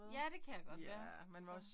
Ja det kan jeg godt være sådan